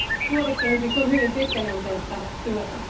Tuotekehitys on hyvin pitkäjänteistä työtä.